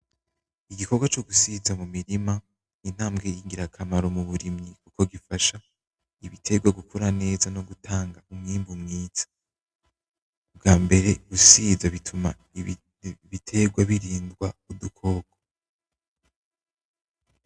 Igikorwa cogusiza mumirima intambwe igira akamaro mumurimyi ko bifasha ibiterwa gukura neza no gutanga umwambu mwiza. Ubwambere gusiza bituma ibiterwa biridwa udukoko.